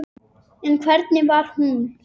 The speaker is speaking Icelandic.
En hvernig var hún?